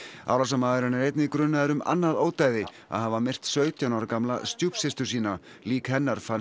árásarmaðurinn er einnig grunaður um annað ódæði að hafa myrt sautján ára gamla stjúpsystur sína lík hennar fannst